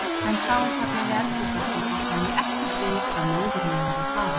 En þá, þarna við eldhúsvaskinn, botnaði ég ekkert í hvað móðir mín var að fara.